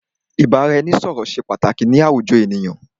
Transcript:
Ìbáraẹnisọ̀rọ̀ ṣé pàtàkì ni àwùjọ ènìyàn.